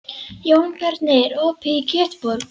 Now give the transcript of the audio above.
Jónbjarni, er opið í Kjötborg?